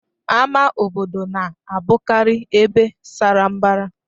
Ama obodo na-abụkarị ebe sara mbara.